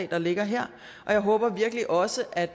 der ligger her og jeg håber virkelig også at